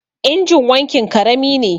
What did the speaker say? injin wankin karami ne